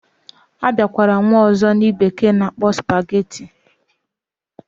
Abiakwara nwe ozo ndi bekee na akpo spaghetti.